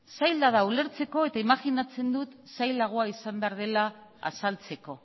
zaila da ulertzeko eta imajinatzen dut zailagoa izan behar dela azaltzeko